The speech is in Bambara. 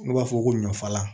N'u b'a fɔ ko ɲɔfalan